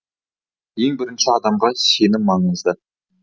ең бірінші адамға сенім маңызды